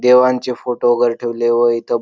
देवांचे फोटो वगैरे ठेवले व इथं--